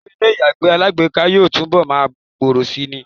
Ìlò ilé ìyàgbẹ́ alágbèéká yóò túnbọl máa gbòòrò síi ni.